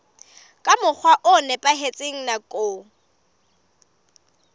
ka mokgwa o nepahetseng nakong